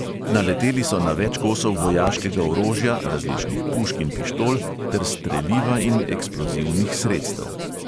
Naleteli so na več kosov vojaškega orožja, različnih pušk in pištol ter streliva in eksplozivnih sredstev.